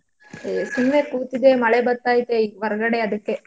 ಈ ಸುಮ್ನೆಕೂತಿದ್ದೆ ಮಳೆ ಬರ್ತಾಐತೆ ಈಗ್ ಹೊರ್ಗಡೆ ಅದಿಕ್ಕೆ.